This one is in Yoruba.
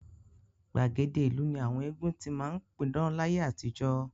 Gbàgede ìlú ni àwọn eégún ti máa ń pidán láyé àtijọ́